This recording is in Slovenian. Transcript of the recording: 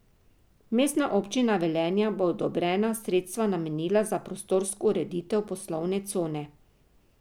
Mestna občina Velenje bo odobrena sredstva namenila za prostorsko ureditev poslovne cone.